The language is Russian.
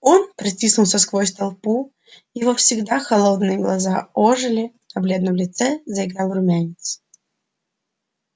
он протиснулся сквозь толпу его всегда холодные глаза ожили на бледном лице заиграл румянец